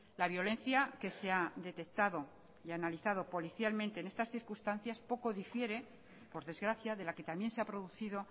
la violencia que se ha detectado y analizado policialmente en estas circunstancias poco difiere por desgracia de la que también se ha producido